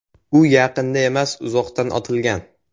U yaqindan emas, uzoqdan otilgan.